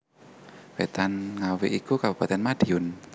Wetan Ngawi iku Kabupaten Madiun